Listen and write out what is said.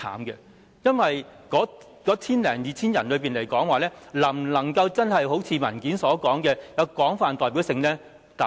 因為那千多人是否能夠真的如文件所述，具有廣泛代表性呢？